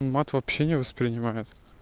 мат вообще не воспринимает